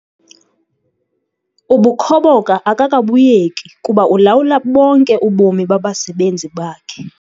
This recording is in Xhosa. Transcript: Ubukhoboka akakabuyeki kuba ulawula bonke ubomi babasebenzi bakhe.